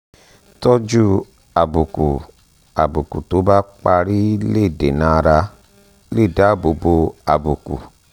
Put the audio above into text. tójú àbùkù àbùkù tó bá parí lè dènàárà lè dáàbò bo àbùkù um